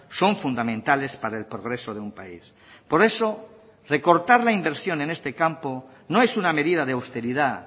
son fundamentales para el progreso de un país por eso recortar la inversión en este campo no es una medida de austeridad